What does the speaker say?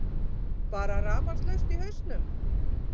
Bara rafmagnslaust í hausnum.